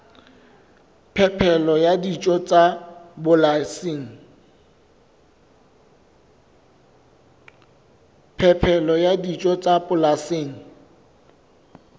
phepelo ya dijo tsa polasing